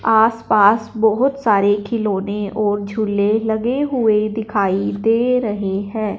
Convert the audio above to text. आस पास बहोत सारे खिलौने और झूले लगे हुए दिखाई दे रहे है।